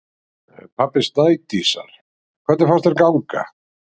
Pabbi Snædísar: Hvernig fannst þér ganga?